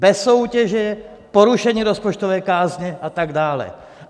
Bez soutěže, porušení rozpočtové kázně a tak dále.